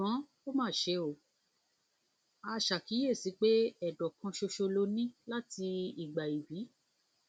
ṣùgbọn ó mà mà ṣe o a ṣàkíyèsí pé ệdọ kan ṣoṣo ló ní láti ìgbà íbí